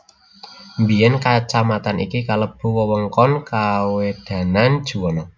Biyén kacamatan iki kelebu wewengkoné kawedanan Juwana